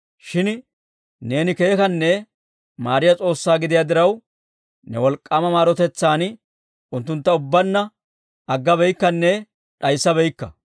Shin neeni keekanne maariyaa S'oossaa gidiyaa diraw, ne wolk'k'aama maarotetsaan unttuntta ubbaanna aggabeykkanne d'ayssabaakka.